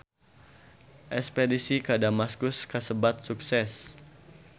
Espedisi ka Damaskus kasebat sukses